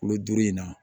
Kulo duuru in na